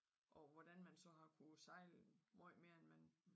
Og hvordan man så har kunnet sejle meget mere end man